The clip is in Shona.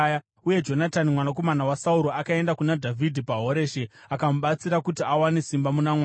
Uye Jonatani mwanakomana waSauro akaenda kuna Dhavhidhi paHoreshi akamubatsira kuti awane simba muna Mwari.